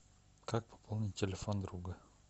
как пополнить телефон друга